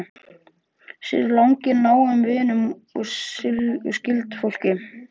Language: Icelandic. Sér í lagi nánum vinum og skyldfólki.